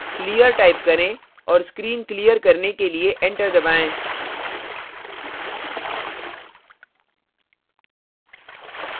clear type करें और screen clear करने के लिए enter दबाएं